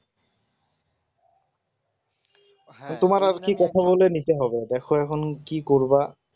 তোমার আর কি কথা বলে নিতে হবে দেখো এখন কি করবা